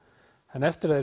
en eftir að